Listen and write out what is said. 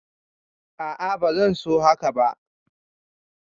A'a ba zan so haka ba